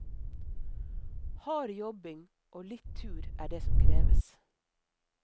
Hard jobbing og litt tur er det som kreves.